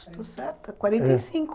estou certa? Quarenta e cinco. É.